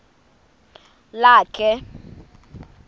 lakhe